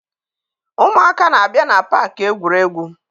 Ụmụaka na-abịa na paakị egwuregwu.